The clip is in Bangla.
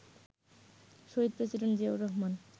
শহীদ প্রেসিডেন্ট জিয়াউর রহমান